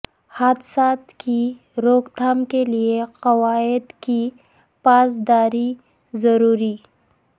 حادثات کی روک تھام کیلئے قواعد کی پاسداری ضروری